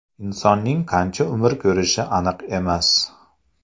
Insonning qancha umr ko‘rishi aniq emas.